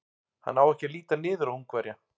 Hann á ekki að líta niður á Ungverja.